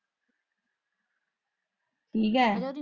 ਠੀਕ ਏ।